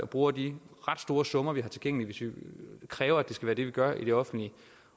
bruger de ret store summer vi har tilgængelige hvis vi kræver at det skal være det vi gør i det offentlige